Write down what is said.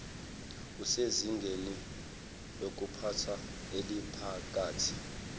usezingeni lokuphatha eliphakathi